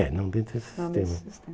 É, não dentro desse sistema.